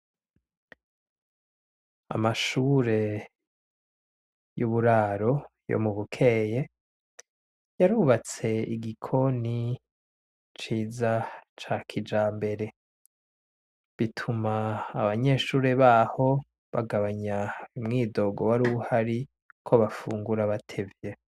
Amashure y'uburaro yo mu Bukeye yarubatse igikoni ciza ca kijambere, bituma abanyeshure baho bagabanya umwidogo waruhari ko bafungura batevye.